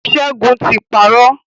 Ṣẹ́gun ti parọ́.